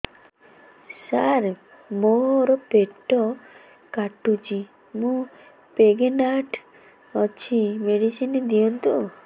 ସାର ମୋର ପେଟ କାଟୁଚି ମୁ ପ୍ରେଗନାଂଟ ଅଛି ମେଡିସିନ ଦିଅନ୍ତୁ